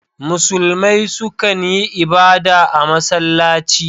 Musulmai su kan yi ibada a masallaci.